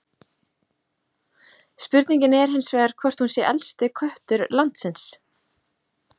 Spurningin er hins vegar hvort hún sé elsti köttur landsins?